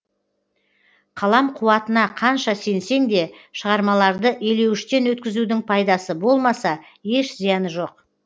қалам қуатына қанша сенсең де шығармаларды елеуіштен өткізудің пайдасы болмаса еш зияны жоқ